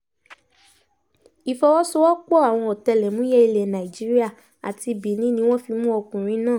ìfọwọ́sowọ́pọ̀ àwọn ọ̀tẹlẹ̀múyẹ́ ilẹ̀ nàìjíríà àti benin ni wọ́n fi mú ọkùnrin náà